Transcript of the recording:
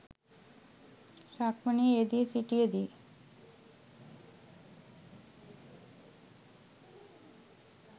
සක්මනේ යෙදී සිටියදී